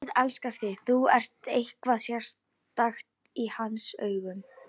Guð elskar þig, þú ert eitthvað sérstakt í hans augum.